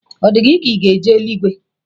Ọ di gị ka ị ga-eje eluigwe?